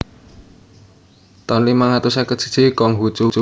taun limang atus seket siji Kong Hu Cu